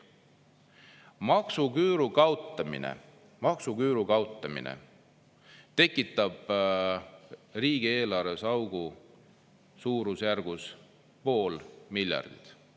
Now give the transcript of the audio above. Maksuküüru kaotamine, maksuküüru kaotamine tekitab riigieelarvesse augu suurusjärgus pool miljardit.